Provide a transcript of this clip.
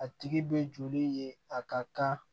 A tigi bɛ joli ye a ka kan